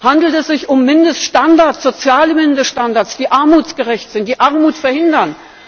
Handelt es sich um Mindeststandards, soziale Mindeststandards, die armutsgerecht sind, die Armut verhindern?